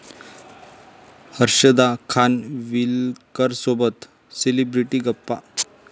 हर्षदा खानविलकरसोबत सेलिब्रिटी गप्पा